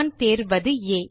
நான் தேர்வதுA